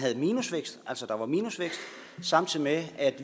minusvækst samtidig med at